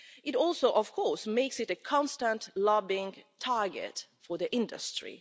It also, of course, makes it a constant lobbying target for the industry.